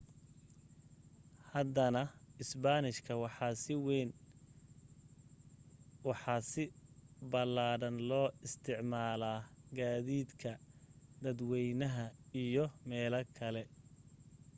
haddana isbaanishka waxa si ballaadhan looga isticmaalaa gaadiidka dadwaynaha iyo meelaha kale